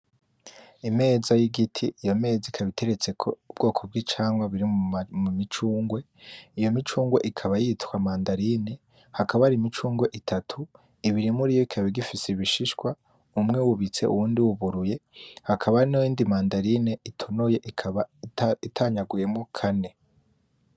Imeza y'igiti. iyo meza ikaba iteretseko ubwoko bw'icamwa co mumicungwe iyo micungwe ikaba yitwa manderine, hakaba hari Imicungwe itatu, ibiri muriyo ikaba igifise ibishishwa umwe wubitse uwundi wuburuye hakaba hariho iyindi manderine itonoye ikaba itanyaguwemwo kane.